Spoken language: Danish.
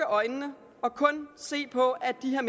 øjnene og kun se på at det her